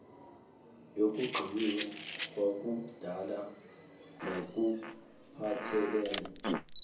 yokugciniwe kwakudala nokuphathelene